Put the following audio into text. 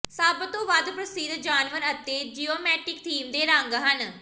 ਸਭ ਤੋਂ ਵੱਧ ਪ੍ਰਸਿੱਧ ਜਾਨਵਰ ਅਤੇ ਜਿਓਮੈਟਿਕ ਥੀਮ ਦੇ ਰੰਗ ਹਨ